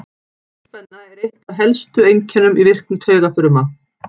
Boðspenna er eitt af helstu einkennum í virkni taugafrumna.